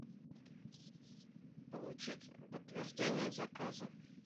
получить подтверждение заказа